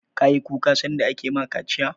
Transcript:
Ka yi kuka sanda ake ma ka kaciya?